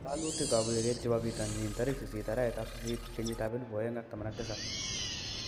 ngololutik ap ureriet chebo pitonin 08.08.2017